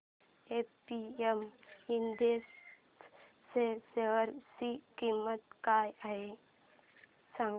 आज APM industries च्या share ची किंमत काय आहे सांगा